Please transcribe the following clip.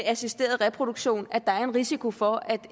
af assisteret reproduktion at der er en risiko for at